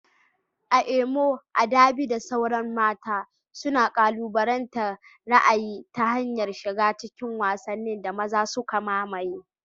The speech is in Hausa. A Imo, Adaobi da sauran mata suna kalubalantar ra'ayi ta hanyar shiga cikin wasannin da maza suka mamaye.